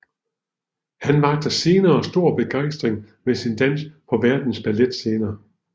Han vakte senere stor begejstring med sin dans på verdens balletscener